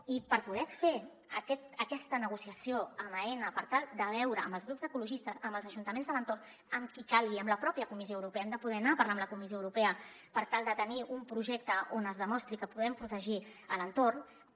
i per poder fer aquesta negociació amb aena per tal de veure amb els grups ecologistes amb els ajuntaments de l’entorn amb qui calgui amb la pròpia comissió europea hem de poder anar a parlar amb la comissió europea per tal de tenir un projecte on es de·mostri que podem protegir l’entorn